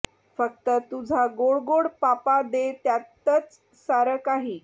फक्त तुझा गोड गोड पापा दे त्यातच सारं काही